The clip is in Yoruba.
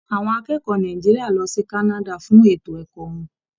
Àwọn akẹ́kọ̀ọ́ Nàìjíríà lọ sí Canada fún ètò ẹkọ wọn.